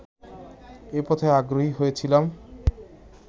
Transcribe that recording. এ পথে আগ্রহী হয়েছিলাম